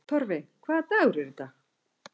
Torfey, hvaða dagur er í dag?